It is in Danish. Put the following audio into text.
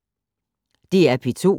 DR P2